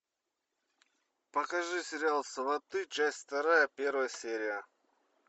покажи сериал сваты часть вторая первая серия